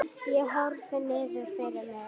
Ég horfi niður fyrir mig.